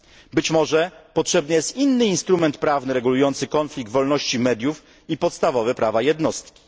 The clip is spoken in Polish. Być może potrzebny jest inny instrument prawny regulujący konflikt wolności mediów i podstawowe prawa jednostki.